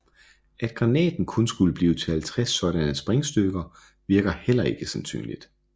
At granaten kun skulle blive til 50 sådanne sprængstykker virker heller ikke sandsynligt